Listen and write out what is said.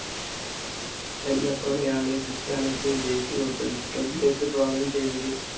സെൻറർഫോണായാണ് ക്രിസ്റ്റ്യാനോയിക്ക് jersey കൊടുത്തത് club ലേക്ക് സ്വാഗതം ചെയ്തത്.